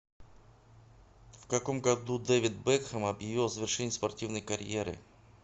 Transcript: в каком году дэвид бекхэм объявил о завершении спортивной карьеры